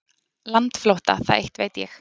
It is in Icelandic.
Landflótta, það eitt veit ég.